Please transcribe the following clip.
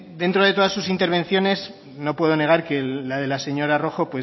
dentro de todas sus intervenciones no puedo negar que la de la señora rojo